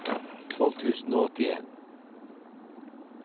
tolv tusen og åttien